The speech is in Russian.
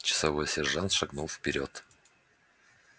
часовой сержант шагнул вперёд